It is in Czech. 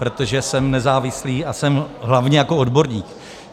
Protože jsem nezávislý a jsem hlavně jako odborník.